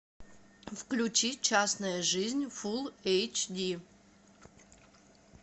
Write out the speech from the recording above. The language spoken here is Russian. включи частная жизнь фулл эйч ди